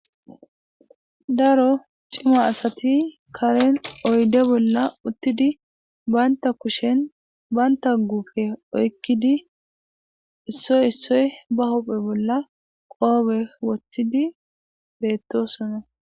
daro cima asati karen oyde bolla uttidi banta kushen banta gufe oykkidi issoy issoy ba hophe bolla qoobe woththidi beettosono